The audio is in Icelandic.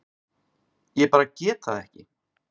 Ég bara get það ekki.